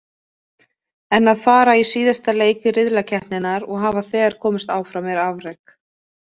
En að fara í síðasta leik riðlakeppninnar og hafa þegar komist áfram er afrek.